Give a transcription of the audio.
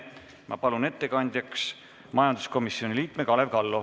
Ma palun ettekandjaks majanduskomisjoni liikme Kalev Kallo.